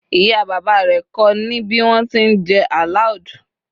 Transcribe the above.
ìyá bàbá rẹ ko ni bi wọn ti n je aloud